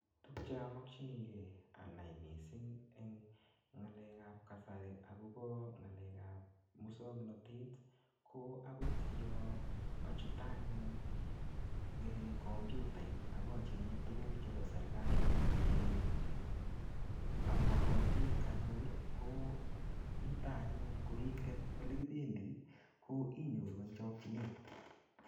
Tuk che amakchinikei anai missing eng ng'alekap kasari akobo ng'alekap muswaganatet, ko akot yoo achute anyun um kompyutait, akachenge tuguk chebo serikali, che amagatin anyor, ko yutok anyun, ko ingen ole kibendi, ko inyoru eng chakchinet.